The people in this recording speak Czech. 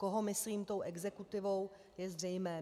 Koho myslím tou exekutivou, je zřejmé.